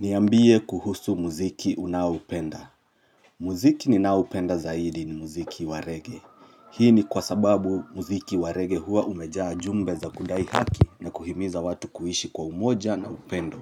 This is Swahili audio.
Niambie kuhusu muziki unaoupenda muziki ninaoupenda zaidi ni muziki wa reggae Hii ni kwa sababu muziki wa reggae huwa umejaa jumbe za kudai haki na kuhimiza watu kuishi kwa umoja na upendo